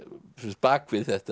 bak við þetta